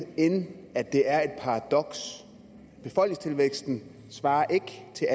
end at det er et paradoks befolkningstilvæksten svarer ikke til